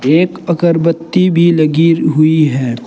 एक अगरबत्ती भी लगी हुई है।